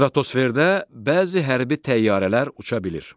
Stratosferdə bəzi hərbi təyyarələr uça bilir.